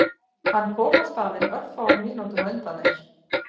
Hann kom á staðinn örfáum mínútum á undan þér